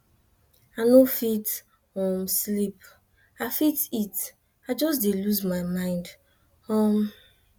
i no fit um sleep i fit eat i just dey lose my mind um